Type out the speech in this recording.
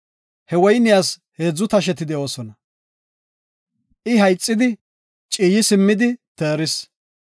He woyniyas heedzu tasheti de7oosona. I hayxidi, ciiyi simmidi teeris.